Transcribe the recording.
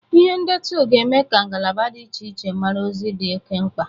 Ihe ndetu ga-eme ka ngalaba dị iche iche mara ozi dị oke mkpa.